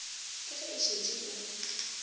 ke ge e šetše e